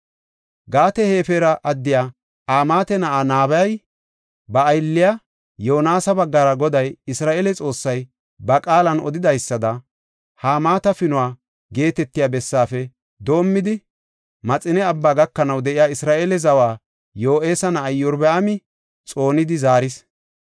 Gaat-Hefera addiya Amaate na7aa nabiya, ba aylliya Yoonasa baggara Goday Isra7eele Xoossay ba qaalan odidaysada, Hamaata Pinuwa geetetiya bessaafe doomidi, Maxine Abbaa gakanaw de7iya Isra7eele zawa Yo7aasa na7ay Iyorbaami xoonidi zaaris.